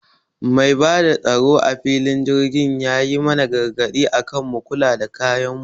Mai bada tsaro a filin jirgi yayi mana gargaɗi akan mu kula da kayan mu